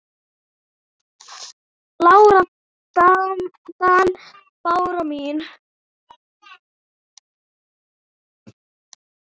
Lára Dan. Bára mín.